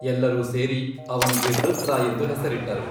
ಎಲ್ಲರೂ ಸೇರಿ ಅವನಿಗೆ ವೃತ್ರ ಎಂದು ಹೆಸರಿಟ್ಟರು.